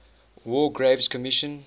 war graves commission